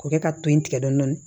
K'o kɛ ka to yen tigɛ dɔɔni